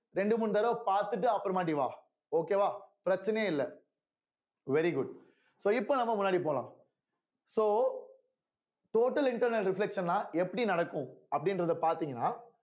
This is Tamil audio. ரெண்டு மூணு தடவை பார்த்துட்டு அப்புறமாட்டி வா okay வா பிரச்சனையே இல்ல very good so இப்போ நம்ம முன்னாடி போலாம் so total internal reflection ன்னா எப்படி நடக்கும் அப்படின்றதை பார்த்தீங்கன்னா